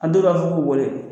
A dɔw la fo k'u wele.